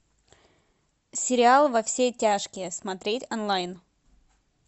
сериал во все тяжкие смотреть онлайн